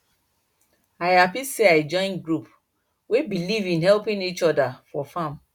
i happy say i join group wey believe in helping each other for farm